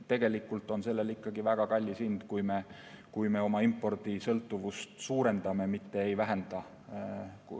Tegelikult on sellel ikkagi väga kallis hind, kui me oma impordisõltuvust suurendame, mitte ei vähenda.